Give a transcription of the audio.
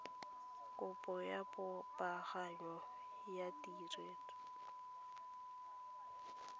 kopo ya popaganyo ya ketleetso